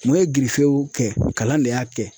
Mun ye girifew kɛ kalan de y'a kɛ.